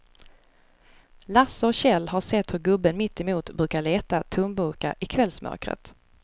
Lasse och Kjell har sett hur gubben mittemot brukar leta tomburkar i kvällsmörkret.